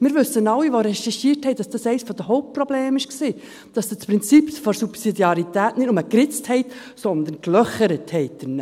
Wir alle, die recherchiert haben, wissen, dass das eines der Hauptprobleme war, dass Sie das Prinzip der Subsidiarität nicht nur geritzt haben, sondern gelöchert haben.